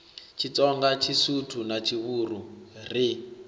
tshitsonga tshisuthu na tshivhuru ri